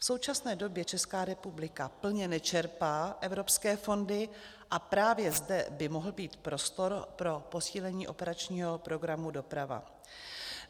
V současné době Česká republika plně nečerpá evropské fondy a právě zde by mohl být prostor pro posílení operačního programu Doprava.